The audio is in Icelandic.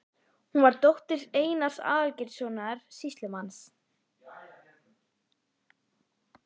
Hún var dóttir Einars Aðalgeirssonar sýslumanns.